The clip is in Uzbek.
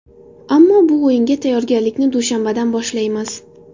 Ammo bu o‘yinga tayyorgarlikni dushanbadan boshlaymiz.